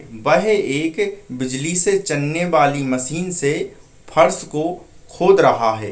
वह एक बिजली से चलने वाली मशीन से फर्श को खोद रहा है।